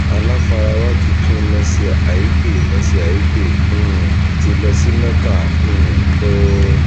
aláfarawá tuntun mercy aigbe mercy aigbe um ti lọ sí mecca um o